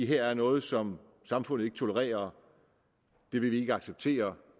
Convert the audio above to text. her er noget som samfundet ikke tolererer det vil vi ikke acceptere